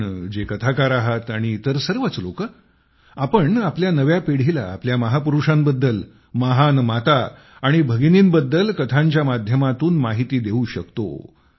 आपण जे कथाकार आहात आणि इतर सर्वच लोक आपण आपल्या नव्या पिढीला आपल्या महापुरुषांबद्दल महान माता आणि भगिनींबद्दल कथांच्या माध्यमातून माहिती देऊ शकतो